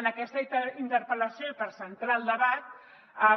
en aquesta interpel·lació i per centrar el debat